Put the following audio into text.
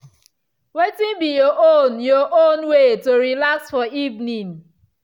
wetin be your own your own way to relax for evening?